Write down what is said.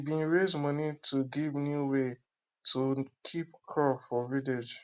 we bin raise money to give new way to keep crop for village